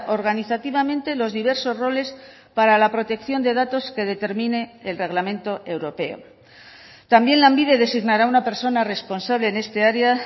organizativamente los diversos roles para la protección de datos que determine el reglamento europeo también lanbide designará una persona responsable en esta área